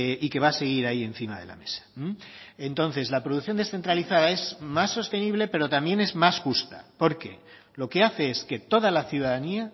y que va a seguir ahí encima de la mesa entonces la producción descentralizada es más sostenible pero también es más justa porque lo que hace es que toda la ciudadanía